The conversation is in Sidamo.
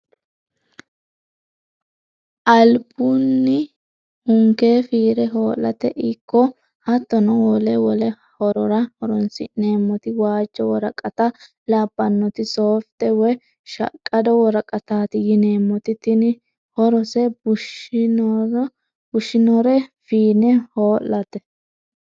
Albunni hunke fiire ho'late ikko hattono wole wole horora horonsi'neemmoti waajjo worqatta labbanotta softe woyi shaqqado woraqatati yineemmote tini horose bushinore fiine hoo'late.